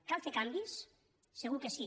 cal fer canvis segur que sí